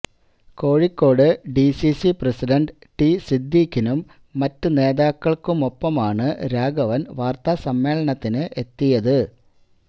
Kozhikode DCC president T സിദ്ദിഖിനും മറ്റ് നേതാക്കള്ക്കുമൊപ്പമാണ് രാഘവന് വാര്ത്താസമ്മേളനത്തിന് എത്തിയത്